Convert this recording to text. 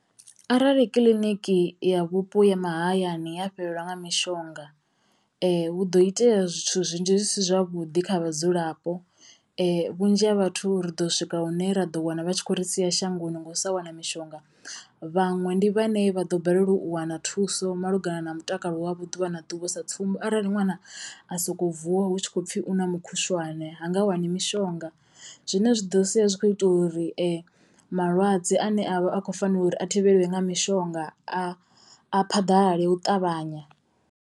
Arali kiḽiniki ya vhupo ha mahayani ha fhelelwa nga mishonga hu do itea zwithu zwinzhi zwi si zwavhuḓi kha vhadzulapo. Vhunzhi ha vhathu ri ḓo swika hune ra ḓo wana vha tshi kho ri sia shangoni ngo u sa wana mishonga, vhaṅwe ndi vhane vha ḓo balelwa u wana thuso malugana na mutakalo wavho ḓuvha na ḓuvha sa tsumbo arali ṅwana a soko vuwa hu tshi kho pfhi u na mukhushwane ha nga wani mishonga zwine zwa ḓo sia zwi kho ita uri malwadze ane avha akho fanela uri a thivhelwe nga mishonga a a phaḓalale u ṱavhanya.